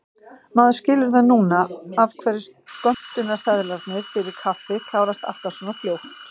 Maður skilur það núna af hverju skömmtunarseðlarnir fyrir kaffið klárast alltaf svona fljótt!